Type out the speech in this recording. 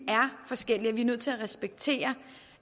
forskellige nødt til at respektere